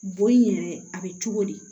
Bon in yɛrɛ a bɛ cogo di